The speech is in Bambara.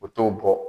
U t'o bɔ